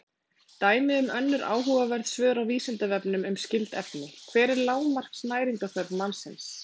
Dæmi um önnur áhugaverð svör á Vísindavefnum um skyld efni: Hver er lágmarks næringarþörf mannsins?